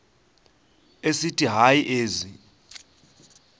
esithi hayi ezi